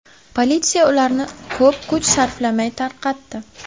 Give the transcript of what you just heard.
Politsiya ularni ko‘p kuch sarflamay tarqatdi.